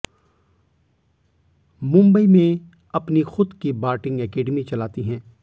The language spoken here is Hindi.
मुंबई में अपनी खुद की बार्टिंग एकेडमी चलाती हैं